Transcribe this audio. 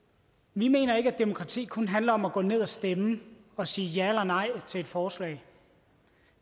vi mener ikke at demokrati kun handler om at gå ned og stemme og sige ja eller nej til et forslag